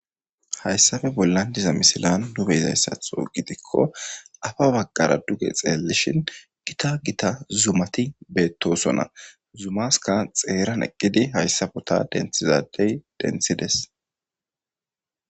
Hayssafe bollan diza misilan nube zayssatho gidikko afa baggara duge xeellishin gita gita zumati beettosonna zumaska xeeran eqqidi hayssafo ta denthizadey denthides.